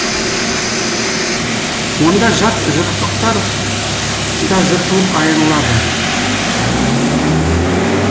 онда жат жұрттықтар да жыртылып айырылады